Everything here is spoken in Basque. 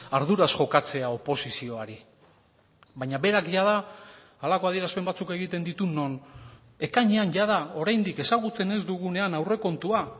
arduraz jokatzea oposizioari baina berak jada halako adierazpen batzuk egiten ditu non ekainean jada oraindik ezagutzen ez dugunean aurrekontua